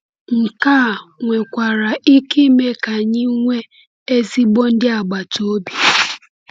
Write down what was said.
Nke a nwekwara ike ime ka anyị nwee ezigbo ndị agbata obi.